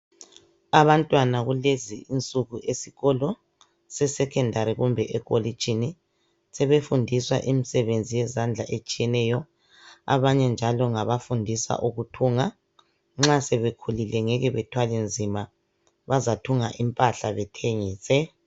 Abantwana kulezi insuku esikolo sesekhendari kumbe ekolitshini, sebefundiswa imsebenzi yezandla etshiyeneyo. Abanye njalo ngabafundiswa ukuthunga. Nxa sebekhulile ngeke bethwale nzima, bazathunga impahla bethengise.